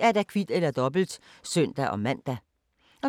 Mandag d. 31. juli 2017